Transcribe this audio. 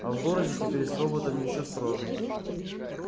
а в городе теперь с роботами ещё строже